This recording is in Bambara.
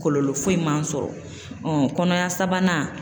Kɔlɔlɔ foyi man sɔrɔ um] kɔnɔya sabanan